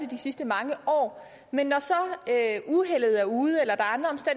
de sidste mange år men når så uheldet er ude eller der